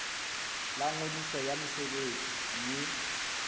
la ngodiso ya mosebetsi mme